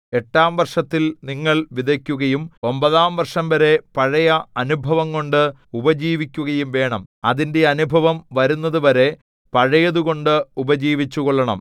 എട്ടാം വർഷത്തിൽ നിങ്ങൾ വിതയ്ക്കുകയും ഒമ്പതാം വർഷംവരെ പഴയ അനുഭവംകൊണ്ട് ഉപജീവിക്കുകയും വേണം അതിന്റെ അനുഭവം വരുന്നത് വരെ പഴയതുകൊണ്ട് ഉപജീവിച്ചുകൊള്ളണം